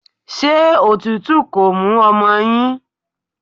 Ṣé òtútù kò mú ọmọ yín?